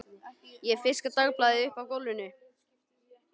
Ég fiska dagblaðið upp af gólfinu.